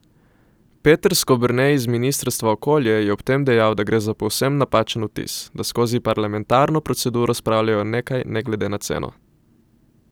Peter Skoberne iz ministrstva okolje je ob tem dejal, da gre za povsem napačen vtis, da skozi parlamentarno proceduro spravljajo nekaj ne glede na ceno.